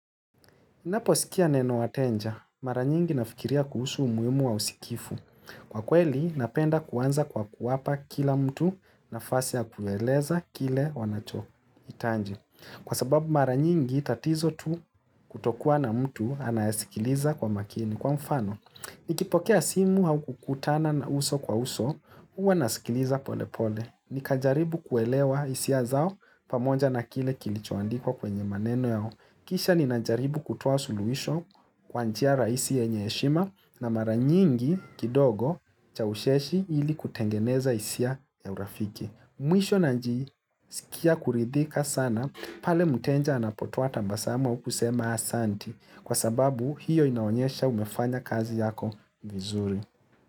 Ninaposikia neno wateja, mara nyingi nafikiria kuhusu umuhimu wa usikivu. Kwa kweli, napenda kuanza kwa kuwapa kila mtu nafasi ya kueleza kile wanachohitaji. Kwa sababu mara nyingi, tatizo tu kutokua na mtu anayesikiliza kwa makini. Kwa mfano, nikipokea simu au kukutana na uso kwa uso, huwa nasikiliza pole pole. Nikajaribu kuelewa hisia zao pamoja na kile kilichoandikwa kwenye maneno yao. Kisha ninajaribu kutoa suluhisho kwa njia rahisi yenye heshima na mara nyingi kidogo cha ucheshi ili kutengeneza hisia ya urafiki. Mwisho najiskia kuridhika sana pale mteja anapotoa tabasamu au kusema asante kwa sababu hiyo inaonyesha umefanya kazi yako vizuri.